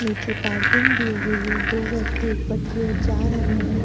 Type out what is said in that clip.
नीचे पार्किंग दी हुई है दो व्यक्ति ऊपर की ओर जा रहे हैं ।